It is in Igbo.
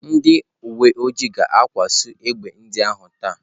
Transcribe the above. Ndị uwe ojii ga-akwụsị egbe ndị ahụ taa.